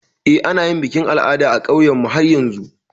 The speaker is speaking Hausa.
Eh, ana yin bikin al'ada a ƙauynmu har yanzu.